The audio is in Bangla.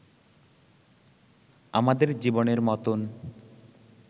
আমাদের জীবনের মতোন